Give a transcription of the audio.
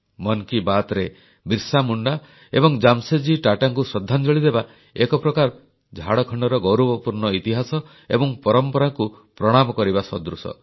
ମନ କି ବାତରେ ବିର୍ସା ମୁଣ୍ଡା ଏବଂ ଜାମଶେଦଜୀ ଟାଟାଙ୍କୁ ଶ୍ରଦ୍ଧାଞ୍ଜଳି ଦେବା ଏକ ପ୍ରକାର ଝାଡ଼ଖଣ୍ଡର ଗୌରବପୂର୍ଣ୍ଣ ଇତିହାସ ଏବଂ ପରମ୍ପରାକୁ ପ୍ରଣାମ କରିବା ସଦୃଶ